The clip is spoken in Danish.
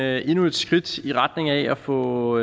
er endnu et skridt i retning af at få